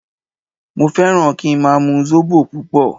Mo fẹ́ràn kí n máa mu Zobo púpọ̀